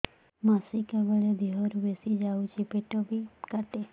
ମାସିକା ବେଳେ ଦିହରୁ ବେଶି ଯାଉଛି ପେଟ ବି କାଟେ